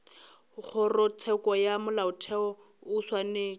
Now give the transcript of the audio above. kgorotsheko ya molaotheo o swanetše